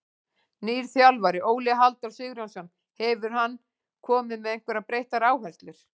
Nýr þjálfari, Óli Halldór Sigurjónsson, hefur hann komið með einhverjar breyttar áherslur?